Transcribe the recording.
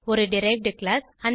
ஒரு derived class